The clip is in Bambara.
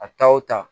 A ta o ta